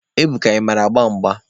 Ebuka, ị mara agba mgba?